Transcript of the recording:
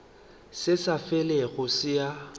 se sa felego se a